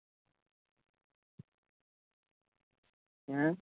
ਹੈਂ